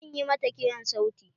Zan ƴi mata kiran sauti.